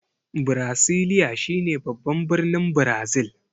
Birasiliya shi ne baban birnin Brazil.